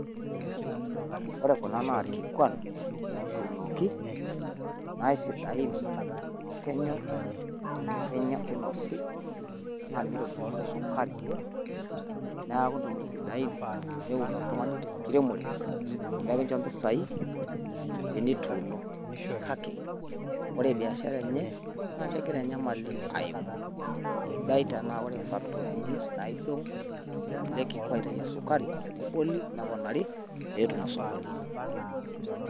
Ore Kuna naa ilkikuan lotuunoki, naa keisidai amu kenyor, keinosi naa ninye itobirunyieki sukari niaku ntokitin sidain. Neun oltung'ani te nkiremore amu ekincho mpisai tenituuno. Kake ore biashara enye naa kegira enyamali aimu, sidai tenaa ore factory ini naidong ele kikwai oitayu esukari neboli neponari pee etum osokoni.